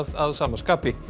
að sama skapi